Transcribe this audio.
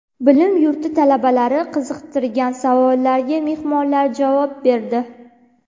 Bilim yurti talabalari qiziqtirgan savollariga mehmonlar javob berdi.